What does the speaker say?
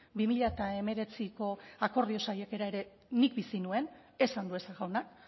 bi mila hemeretziko akordio saiakera ere nik bizi nuen ez andueza jaunak